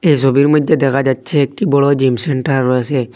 এই সবির মইদ্যে দেখা যাচ্ছে একটি বড় জিম সেন্টার রয়েসে।